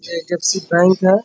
ये एच.डी.एफ.सी. बैंक है।